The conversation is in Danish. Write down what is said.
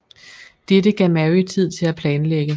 Dette gav Mary tid til at planlægge